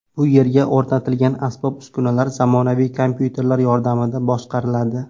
Bu yerga o‘rnatilgan asbob-uskunalar zamonaviy kompyuter yordamida boshqariladi.